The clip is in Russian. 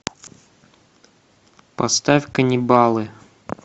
поставь канибалы